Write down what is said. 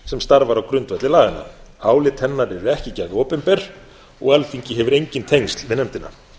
sem starfar á grundvelli laganna álit hennar eru ekki gerð opinber og alþingi hefur engin tengsl við nefndina